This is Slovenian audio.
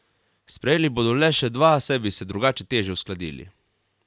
Sprejeli bodo le še dva, saj bi se drugače težje uskladili.